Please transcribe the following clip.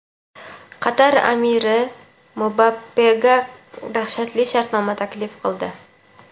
Qatar amiri Mbappega dahshatli shartnoma taklif qildi.